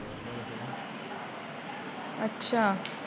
ਅੱਛਾ